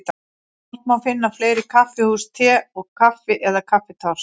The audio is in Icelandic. Hvort má finna fleiri kaffihús Te og Kaffi eða Kaffitárs?